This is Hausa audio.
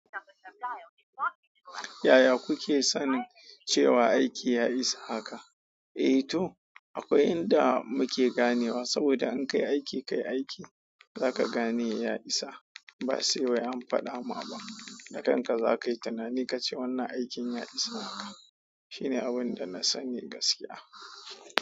Yaya kuke sanin cewa aiki ya isa haka? Eh to akwai inda muke ganewa saboda in kai aiki kai aiki zaka gane ya isa. Ba sai an faɗama ba, da kanka za ka yi tinani ka ce wannan aikin ya isa haka. Shi ne abin da na sani gaskiya.